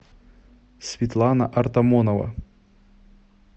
светлана артамонова